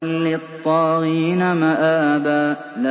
لِّلطَّاغِينَ مَآبًا